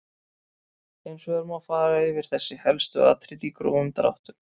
Hins vegar má fara yfir þessi helstu atriði í grófum dráttum.